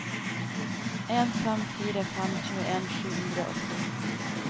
en fem fire fem tjueen sju hundre og ti